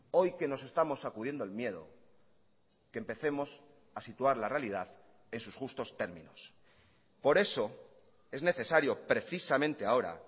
hoy que nos estamos sacudiendo el miedo que empecemos a situar la realidad en sus justos términos por eso es necesario precisamente ahora